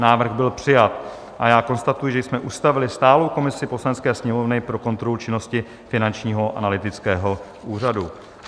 Návrh byl přijat a já konstatuji, že jsme ustavili stálou komisi Poslanecké sněmovny pro kontrolu činnosti Finančního analytického úřadu.